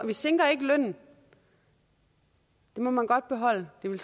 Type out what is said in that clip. vi sænker ikke lønnen den må man godt beholde den vil